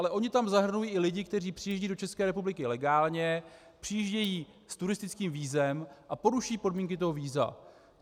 Ale oni tam zahrnují i lidi, kteří přijíždějí do České republiky legálně, přijíždějí s turistickým vízem a poruší podmínky toho víza.